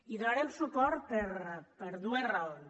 hi donarem suport per dues raons